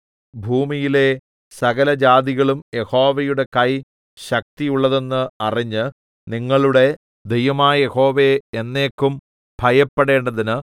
ഭൂമിയിലെ സകലജാതികളും യഹോവയുടെ കൈ ശക്തിയുള്ളതെന്ന് അറിഞ്ഞ് നിങ്ങളുടെ ദൈവമായ യഹോവയെ എന്നേക്കും ഭയപ്പെടേണ്ടതിന്